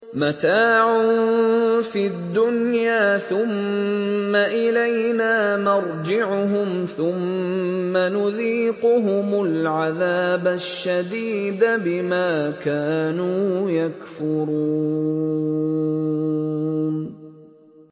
مَتَاعٌ فِي الدُّنْيَا ثُمَّ إِلَيْنَا مَرْجِعُهُمْ ثُمَّ نُذِيقُهُمُ الْعَذَابَ الشَّدِيدَ بِمَا كَانُوا يَكْفُرُونَ